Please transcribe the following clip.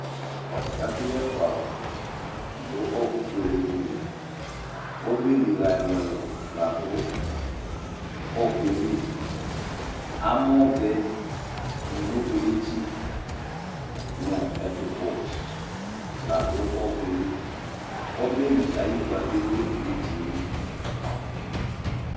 Ɛkʋyɛkpawʋ dʋ ɔɔkʋfuele dɩ li Obeliɣa ɛlʋ ɛlʋ la dʋ ɔɔkʋ yɛ li Amɔvɛ nʋ unokodetsi nʋ ɛtʋpɔ la dʋ ɔɔkʋ yɛ li Obeli ayʋ ɩkpǝ bɩ dʋ idetsi yɛ li